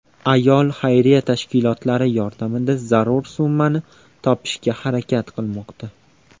Ayol xayriya tashkilotlari yordamida zarur summani topishga harakat qilmoqda.